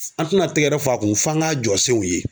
An tɛna tɛgɛrɛ f'a kun f'an k'a jɔsew ye.